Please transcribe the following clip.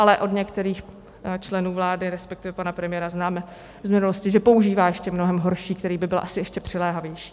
Ale od některých členů vlády, respektive pana premiéra, známe z minulosti, že používá ještě mnohem horší, který by byl asi ještě přiléhavější.